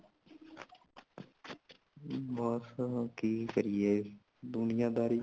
ਹਮ ,ਬਸ ਕੀ ਕਹਿਏ ਦੁਨੀਆਦਾਰੀ